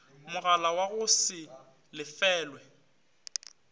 mogala wa go se lefelwe